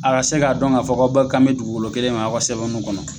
A ka se k'a dɔn ka fɔ k'aw bɛɛ kan bɛ dugukolo kelen ma a ka sɛbɛnniw kɔnɔ